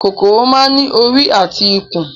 kòkòrò máa ń ní orí àti ikùn